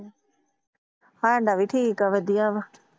ਸਾਡਾ ਵੀ ਠੀਕ ਆ ਵਧੀਆ ਵਾ।